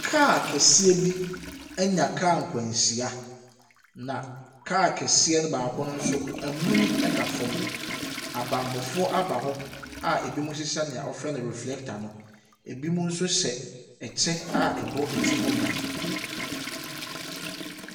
Kaa kɛseɛ bi anya kaa nkwanhyia, na kɛseɛ baako no nso amuni ɛda fam. Abammɔfo ɔ aba hɔ a ɛbinom hyehyɛ deɛ wɔfrɛ no reflector no, ɛbinom nso hyɛ ɛkyɛ a ɛbɔ ɛti ho ban.